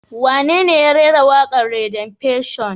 Wanene ya rera waƙar Redemption?